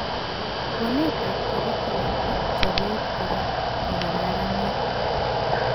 Waletab curriculum akchobet kora kokararanit